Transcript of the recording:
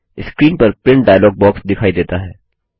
screen पर print dialog box दिखाई देता है